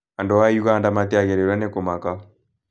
Andũ a Uganda matiagĩrĩirũo nĩ kũmaka.